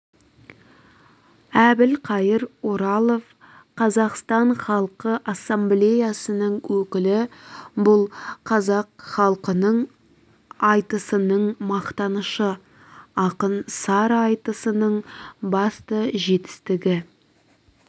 әбілқайыр оралов қазақстан халқы ассамблеясының өкілі бұл қазақ халқының айтысының мақтанышы ақын сара айтысының басты жетістігі